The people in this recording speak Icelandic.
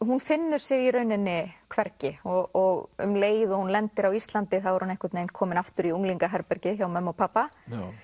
hún finnur sig í rauninni hvergi og um leið og hún lendir á Íslandi er hún komin aftur í hjá mömmu og pabba